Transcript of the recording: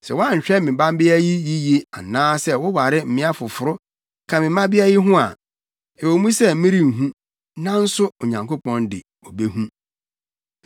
Sɛ woanhwɛ me mmabea yi yiye anaasɛ woware mmea foforo ka me mmabea yi ho a, ɛwɔ mu sɛ merenhu, nanso Onyankopɔn de, obehu.”